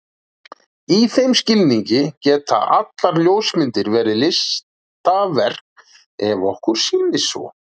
Í þeim skilningi geta allar ljósmyndir verið listaverk ef okkur sýnist svo.